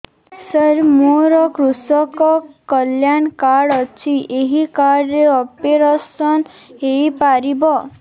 ସାର ମୋର କୃଷକ କଲ୍ୟାଣ କାର୍ଡ ଅଛି ଏହି କାର୍ଡ ରେ ଅପେରସନ ହେଇପାରିବ